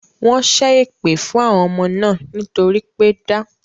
Wọ́n ṣé èpè fún àwọn ọmọ náà nítorí pé da